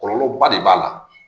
Kɔlɔlɔba de b'a la